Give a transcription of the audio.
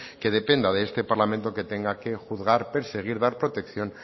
que dependa de este parlamento que tenga que juzgar perseguir dar protección